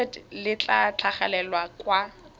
limited le tla tlhagelela kwa